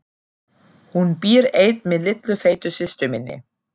Hún býr ein með litlu feitu systur minni.